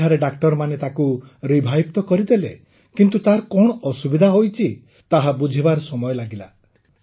ସେଠାରେ ଡାକ୍ତରମାନେ ତାକୁ ରିଭାଇଭ୍ ତ କରିଦେଲେ କିନ୍ତୁ ତାର କଣ ଅସୁବିଧା ହୋଇଛି ତାହା ବୁଝିବାରେ ସମୟ ଲାଗିଲା